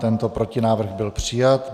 Tento protinávrh byl přijat.